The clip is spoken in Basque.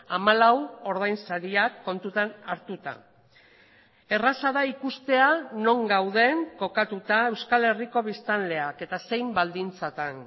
hamalau ordainsariak kontutan hartuta erraza da ikustea non gauden kokatuta euskal herriko biztanleak eta zein baldintzatan